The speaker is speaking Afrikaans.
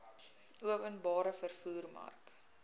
openbare vervoer mark